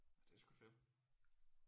Ja det er sgu fedt